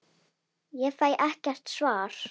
Ég fæ ekkert svar.